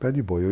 Pé de boi.